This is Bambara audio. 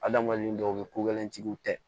Adamaden dɔw bɛ ko gɛlɛnjigiw tɛ